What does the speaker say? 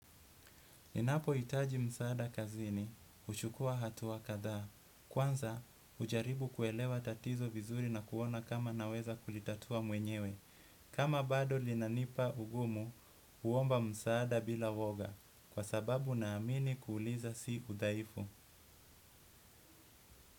Ninapohitaji msaada kazini, huchukua hatua kadhaa. Kwanza, ujaribu kuelewa tatizo vizuri na kuona kama naweza kulitatua mwenyewe. Kama bado linanipa ugumu, huomba msaada bila uoga. Kwa sababu naamini kuuliza si udhaifu.